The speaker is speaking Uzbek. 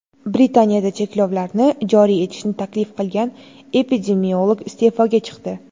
Britaniyada cheklovlarni joriy etishni taklif qilgan epidemiolog iste’foga chiqdi.